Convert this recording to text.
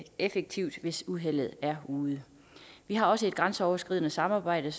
effektivt hvis uheldet er ude vi har også et grænseoverskridende samarbejde